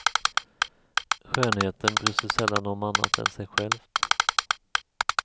Skönheten bryr sig sällan om annat än sig självt.